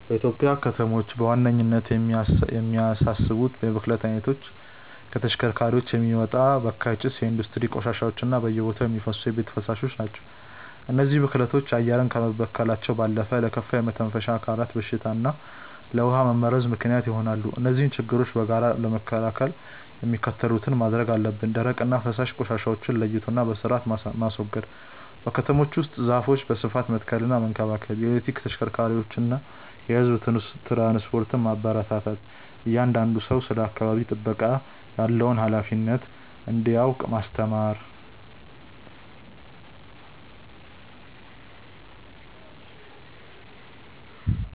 በኢትዮጵያ ከተሞች በዋነኝነት የሚያሳስቡት የብክለት አይነቶች ከተሽከርካሪዎች የሚወጣ በካይ ጭስ፣ የኢንዱስትሪ ቆሻሻዎች እና በየቦታው የሚፈሱ የቤት ፍሳሾች ናቸው። እነዚህ ብክለቶች አየርን ከመበከላቸው ባለፈ ለከፋ የመተንፈሻ አካላት በሽታ እና ለውሃ መመረዝ ምክንያት ይሆናሉ። እነዚህን ችግሮች በጋራ ለመከላከል የሚከተሉትን ማድረግ አለብን፦ ደረቅና ፈሳሽ ቆሻሻዎችን ለይቶና በስርአት ማስወገድ። በከተሞች ውስጥ ዛፎችን በስፋት መትከልና መንከባከብ። የኤሌክትሪክ ተሽከርካሪዎችንና የህዝብ ትራንስፖርትን ማበረታታት። እያንዳንዱ ሰው ስለ አካባቢ ጥበቃ ያለውን ሃላፊነት እንዲያውቅ ማስተማር።